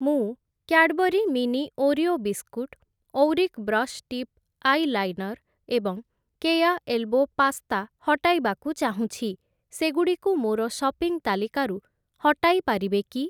ମୁଁ Cadbury mini Oreo biscuit, Auric brush tip eyeliner ଏବଂ Keya elbow pasta ହଟାଇବାକୁ ଚାହୁଁଛି, ସେଗୁଡ଼ିକୁ ମୋର ସପିଂ ତାଲିକାରୁ ହଟାଇ ପାରିବେ କି?